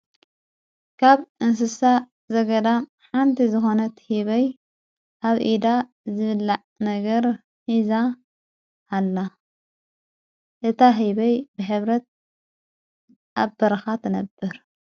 ካብ እንስሳ ዘገዳ ሓንቲ ዝኾነት ሂበይ ኣብ ኢዳ ዘብላዕ ነገር ኂዛ ሃላ እታ ሂበይ ብኅብረት ኣብ በርኻ ተነብር።